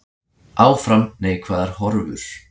Áfram neikvæðar horfur